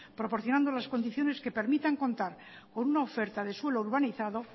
proporcionando las condiciones que permitan contar con una oferta de suelo urbanizado